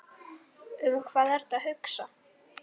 Um hvað ertu að hugsa?